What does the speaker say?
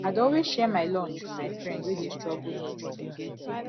i dey always share my lunch wit my friend wey dey struggle to chop